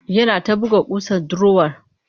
Yana ta buga ƙusa a durowar